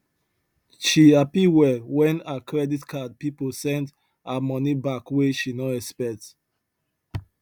she happy well when her credit card people send her money back wey she no expect